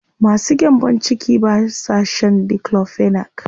Masu gyambo ciki ba sa shan diclofenac.